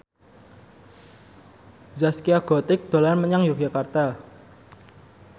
Zaskia Gotik dolan menyang Yogyakarta